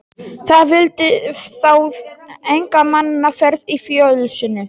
Það vildi þá enga mannaferð í fjósinu.